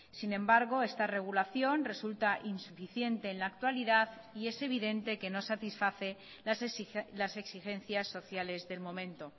sin embargo esta regulación resulta insuficiente en la actualidad y es evidente que no satisface las exigencias sociales del momento